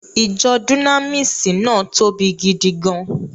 Ìjọ Dúnámíìsì náà tóbi gidi gan-an